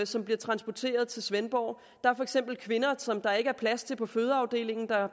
som bliver transporteret til svendborg der er for eksempel kvinder som der ikke er plads til på fødeafdelingen